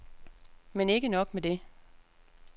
Men ikke nok med det.